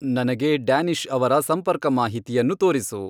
ನನಗೆ ಡ್ಯಾನಿಶ್ ಅವರ ಸಂಪರ್ಕ ಮಾಹಿತಿಯನ್ನು ತೋರಿಸು